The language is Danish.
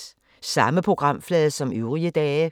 Samme programflade som øvrige dage